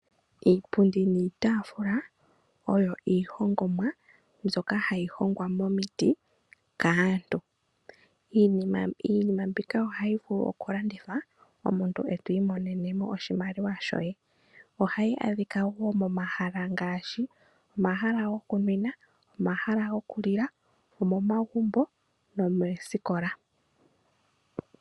Iipundi niitafula, oyo iihongomwa ndjoka hayi hongwa momiti kaantu. Iitafula niipundi ohayi vulu okulandithwa ndele omuntu tiimonenemo iimaliwa. Ohayi adhika woo momahala ngaashi omahala gokunwina, omahala gokulila, omomagumbo no mosikola.